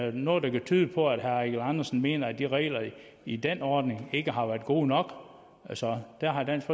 er noget der kan tyde på at herre eigil andersen mener at de regler i den ordning ikke har været gode nok altså der har dansk